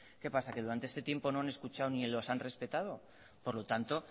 qué pasa qué durante este tiempo no han escuchado ni los han respetado por lo tanto